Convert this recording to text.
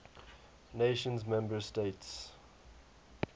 nations member states